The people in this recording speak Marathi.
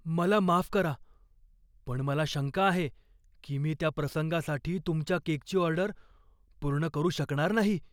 मला माफ करा, पण मला शंका आहे की मी त्या प्रसंगासाठी तुमच्या केकची ऑर्डर पूर्ण करू शकणार नाही.